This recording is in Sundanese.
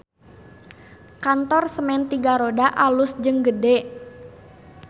Kantor Semen Tiga Roda alus jeung gede